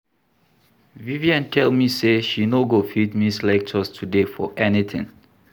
Vivian tell me say she no go fit miss lectures today for anything